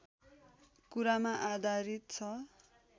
कुरामा आधारित छ